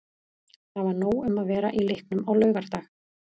Það var nóg um að vera í leiknum á laugardag.